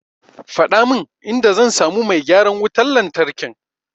Faɗa min inda zan samu mai gyaran wutar lantarkin.